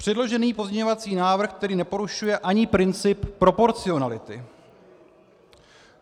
Předložený pozměňovací návrh tedy neporušuje ani princip proporcionality.